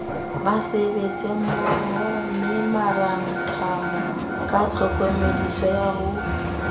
basebetsimmohomemorantamo ka tlhokomediso ya ho